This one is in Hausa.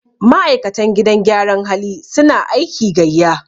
ma'aikatan gidan gyaran hali suna aiki gaiya